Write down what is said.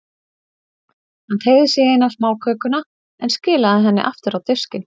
Hann teygði sig í eina smákökuna, en skilaði henni aftur á diskinn.